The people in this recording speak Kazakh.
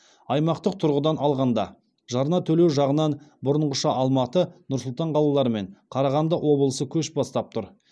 аймақтық тұрғыдан алғанда жарна төлеу жағынан бұрынғыша алматы нұр сұлтан қалалары мен қарағанды облысы көш бастап тұр